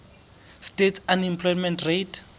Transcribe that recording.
states unemployment rate